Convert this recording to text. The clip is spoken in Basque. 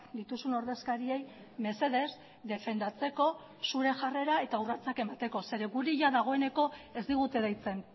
dituzun ordezkariei mesedez defendatzeko zure jarrera eta urratsak emateko zeren guri jada dagoeneko ez digute deitzen